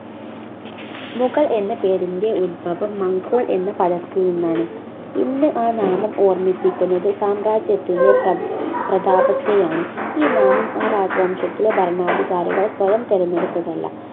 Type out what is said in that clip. മുഗൾ എന്ന പേരിൻ്റെ ഉദ്ഭവം മംഗോൾ എന്ന പദത്തിൽ നിന്നാണ് ഇന്ന് ആ നാമം ഓർമ്മിപ്പിക്കുന്നത് സാമ്രാജ്യത്തിലെ പ്ര പ്രതാപത്തെയാണ് ഈ നാമം ആ രാജവംശത്തിലെ ഭരണാധികാരികൾ സ്വയം തെരഞ്ഞെടുത്തതല്ല